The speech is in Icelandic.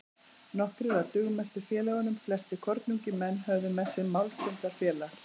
Nokkrir af dugmestu félögunum, flestir kornungir menn, höfðu með sér málfundafélag